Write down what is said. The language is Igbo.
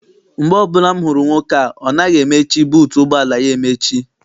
Mgbe ọbụla m hụrụ nwoke a, ọ naghị emechi buutu ụgbọala ya emechi.